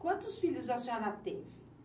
Quantos filhos a senhora teve?